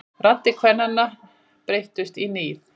Raddir kvennanna breyttust í nið.